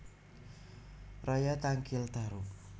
Raya Tangkil Tarub